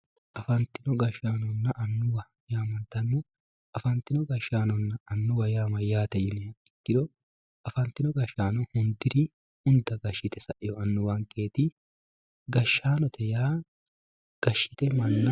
Afantino gashaanona anuwwa afanitino gashanona anuwwa yaa mayate ikiro afantinori unda gashite afante sa`inoreeti yaate